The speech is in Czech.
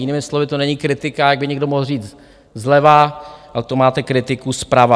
Jinými slovy, to není kritika, jak by někdo mohl říct zleva, ale to máte kritiku zprava.